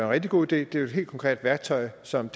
rigtig god idé det er jo et helt konkret værktøj som